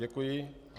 Děkuji.